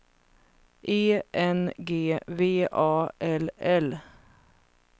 E N G V A L L